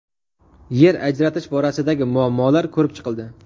Yer ajratish borasidagi muammolar ko‘rib chiqildi.